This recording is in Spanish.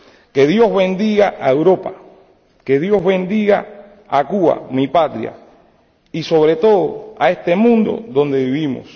Que Dios bendiga a Europa, que Dios bendiga a Cuba —mi patria— y, sobre todo, a este mundo donde vivimos.